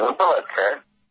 ধন্যবাদ স্যার